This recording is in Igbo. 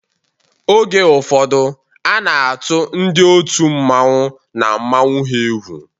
Oge ụfọdụ a na-atụ ndị otu mmanwu na mmanwu ha egwu.